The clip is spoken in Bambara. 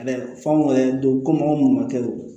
Ɛɛ famori yɛrɛ don komi anw munnu ma kɛ don